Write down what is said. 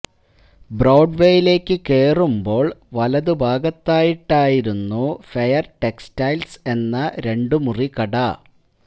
ബ്രോഡ്വെയിലേക്ക് കേറുമ്ബോ വലത് ഭാഗത്തായിട്ടായിരുന്നു ഫെയര് ടെക്സ്റ്റൈല്സ് എന്ന രണ്ടുമുറി കട